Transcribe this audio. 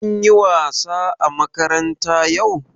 Kun yi wasa a makaranta yau?